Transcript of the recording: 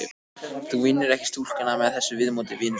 Þú vinnur ekki stúlkuna með þessu viðmóti, vinur sæll.